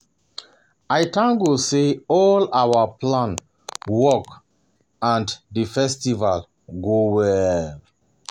I thank God say all our um plan um work and the um festival go well